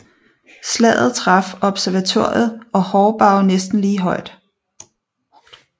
Slaget traf Observatoriet og Horrebow næsten lige hårdt